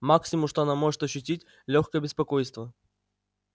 максимум что она может ощутить лёгкое беспокойство